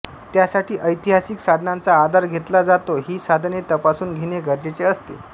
त्यासाठी ऐतिहासिक साधनांचा आधार घेतला जातो ही साधने तपासून घेणे गरजेचे असते